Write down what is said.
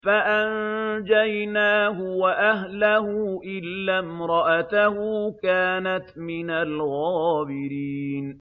فَأَنجَيْنَاهُ وَأَهْلَهُ إِلَّا امْرَأَتَهُ كَانَتْ مِنَ الْغَابِرِينَ